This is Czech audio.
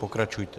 Pokračujte.